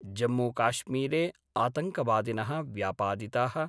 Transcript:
जम्मूकाश्मीरे आतङ्कवादिनः व्यापादिताः